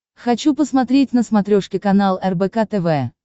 хочу посмотреть на смотрешке канал рбк тв